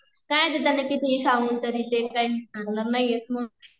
काय त्यांना किती हि सांगून तरी ते काही ऐकणार नाहीये म्हणून